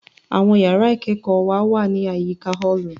Àwọn yàrá ìkẹ́kọ̀ọ́ wa wá ní àyíká ọ́ọ̀lù